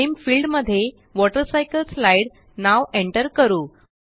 नामे field मध्ये water cycle slide नाव enter करू